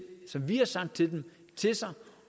som vi har sagt til dem til sig